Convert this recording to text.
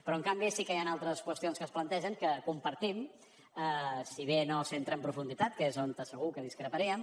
però en canvi sí que hi han altres qüestions que es plantegen que compartim si bé no s’hi entra en profunditat que és on segur que discreparíem